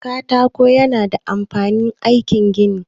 Katako ya na da amfani a aikin gini.